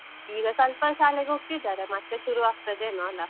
ಈಗ ಸ್ವಲ್ಪ ಶಾಲೆಗೆ ಹೋಗ್ತಿದಾರೆ, ಮತ್ತೆ ಶುರು ಆಗ್ತದೇನೋ ಅಲ.